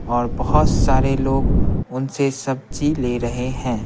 और बहुत सारे लोग उनसे सब्जी ले रहे हैं।